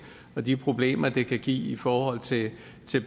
og de problemer det kan give i forhold til